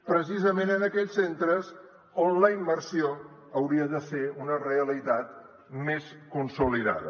precisament en aquells centres on la immersió hauria de ser una realitat més consolidada